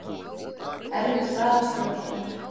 Erfið staða stjórnarinnar